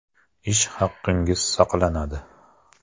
Ish haqingiz saqlanadi.